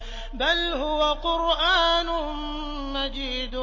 بَلْ هُوَ قُرْآنٌ مَّجِيدٌ